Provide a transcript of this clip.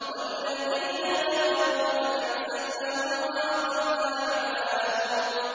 وَالَّذِينَ كَفَرُوا فَتَعْسًا لَّهُمْ وَأَضَلَّ أَعْمَالَهُمْ